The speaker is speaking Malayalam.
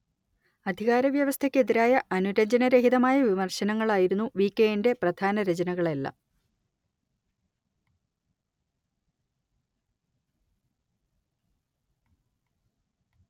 അധികാര വ്യവസ്ഥയ്ക്കെതിരായ അനുരഞ്ജനരഹിതമായ വിമർശനങ്ങളായിരുന്നു വികെഎന്റെ പ്രധാന രചനകളെല്ലാം